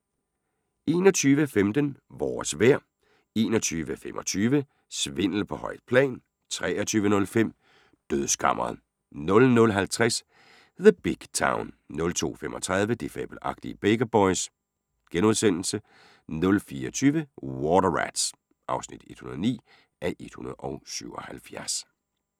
21:15: Vores vejr 21:25: Svindel på højt plan 23:05: Dødskammeret 00:50: The Big Town 02:35: De fabelagtige Baker Boys * 04:20: Water Rats (109:177)